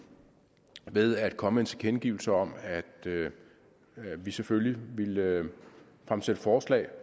ved at komme med en tilkendegivelse om at vi selvfølgelig ville fremsætte forslag